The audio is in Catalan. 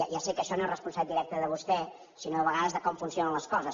ja sé que això no és responsabilitat directa de vostè sinó a vegades de com funcionen les coses